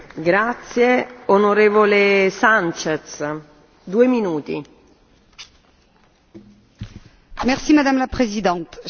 Madame la Présidente, chers collègues, c'est une très bonne nouvelle notre Parlement demande l'élaboration d'une stratégie macrorégionale pour les Alpes.